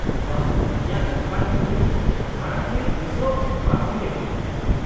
-ᱵᱟᱦ, ᱤᱧᱟᱹᱜ ᱱᱚᱝᱠᱟᱱ ᱵᱩᱡᱩᱱ ᱢᱟᱲᱟᱝ ᱛᱮ ᱛᱤᱥ ᱦᱚᱸ ᱵᱟᱝ ᱦᱩᱭ ᱟᱠᱟᱱᱟ ᱾